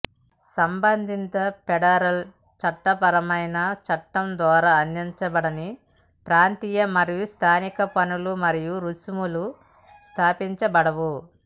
సంబంధిత ఫెడరల్ చట్టపరమైన చట్టం ద్వారా అందించబడని ప్రాంతీయ మరియు స్థానిక పన్నులు మరియు రుసుములు స్థాపించబడవు